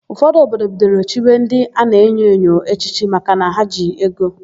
Ụfọdụ obodo bidoro chiwe ndị a na-enyo enyo echichi makana ha ji ego.